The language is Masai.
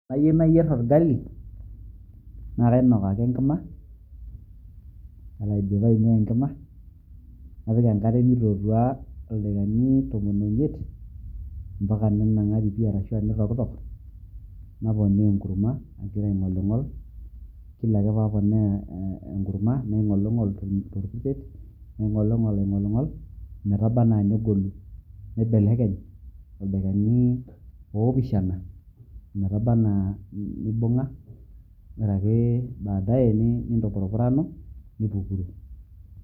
Eniyieuu nayierr olgali naa kainok ake enkima woore aidipa ainuaa enkima napik enkare ildakikani tomon omiet naponaa Enkurma agira aing'oling'ol tolkurseet naingolingol ingolingol naibelekeny ildakikani opishana metabaana nibungaa wore ake baadaye nintupurupuranu nipukuru